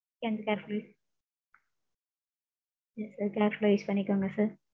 return பண்றது. use பண்ணிக்க்கோங்க sir.